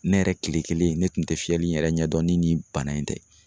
Ne yɛrɛ tile kelen ne kun tɛ fiyɛli yɛrɛ ɲɛdɔn ni nin bana in tɛ